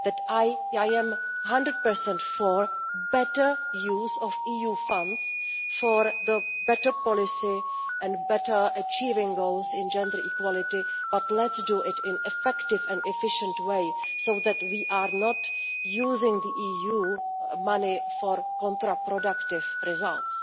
I am one hundred per cent for better use of EU funds, better policy and better achievement of goals in gender equality, but let us do it in an effective and efficient way so that we are not using the EU money for counterproductive results.